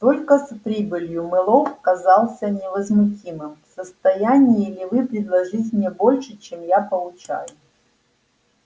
только с прибылью мэллоу казался невозмутимым в состоянии ли вы предложить мне больше чем я получаю